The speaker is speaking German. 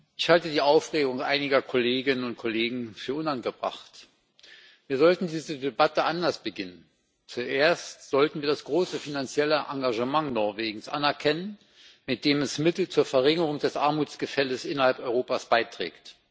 Ich halte die Aufregung einiger Kolleginnen und Kollegen für unangebracht. Wir sollten diese Debatte anders beginnen Zuerst sollten wir das große finanzielle Engagement Norwegens anerkennen, mit dem es Mittel zur Verringerung des Armutsgefälles innerhalb Europas beiträgt.